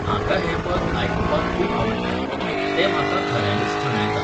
म्हाका हें पद आयकूूपाक खूब आवडटा. तें म्हाका खऱ्यानीच थंडायता